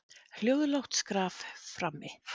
Hljóðlátt skraf frammi.